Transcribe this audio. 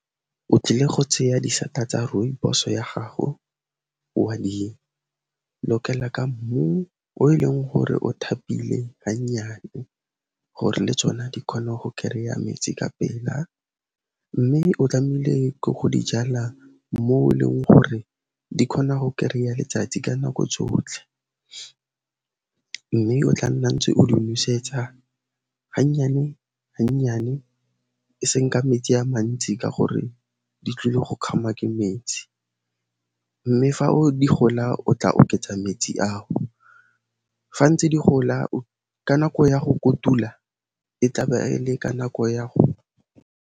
O tlile go tsaya disata tsa Rooibos-o ya gago, wa di lokela ka mmu o e leng gore o thapile ga nnyane gore le tsona di kgone go kereya metsi kapela mme o tlamehile go di jala mo e leng gore di kgona go kereya letsatsi ka nako tsotlhe, mme o tla nna ntse o di nosetsa ga nnyane, ga nnyane eseng ka metsi a mantsi ka gore di tlile go kgamwa ke metsi, mme fa di gola o tla oketsa metsi ao, ga ntse di gola ka nako ya go kotula, e tla be e le ka nako ya go.